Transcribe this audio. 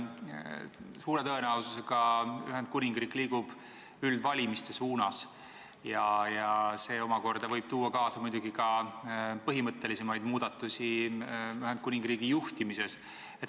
Suure tõenäosusega liigub Ühendkuningriik üldvalimiste poole ja see omakorda võib muidugi kaasa tuua põhimõttelisemaid muudatusi Ühendkuningriigi juhtimises.